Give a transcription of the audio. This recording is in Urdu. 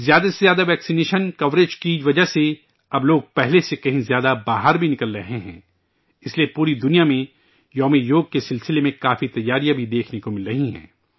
زیادہ سے زیادہ ویکسینیشن کوریج کی وجہ سے اب لوگ پہلے سے کہیں زیادہ باہر بھی نکل رہے ہیں، اس لئے پوری دنیا میں 'یوگ دیوس' کے تعلق سے کافی تیاریاں بھی دیکھنے کو مل رہی ہے